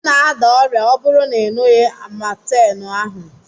Ị ga-ada ọrịa ọ bụrụ na ị ṅughị Amatemu ahụ.